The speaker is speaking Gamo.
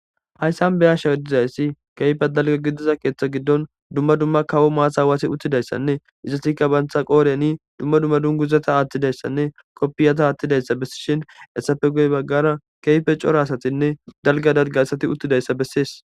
hayssan beyashshawodizayssi keyfe dalga gidiza keeththa giddon dumma dumma kawo maasa waasi uttidayssanne izatikka bantha qooreni dumma dumma dunguzata attidayssanne koppiyata aattidayssa bessishin essafe goy baggara keyfe cora asatinne dalga darga asati uttidayssa bessies